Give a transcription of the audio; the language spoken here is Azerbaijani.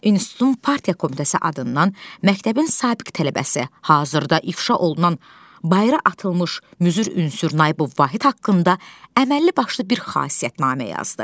İnstitutun partiya komitəsi adından məktəbin sabiq tələbəsi, hazırda ifşa olunan bayıra atılmış müzür ünsür Naibov Vahid haqqında əməlli başlı bir xasiyyətnamə yazdı.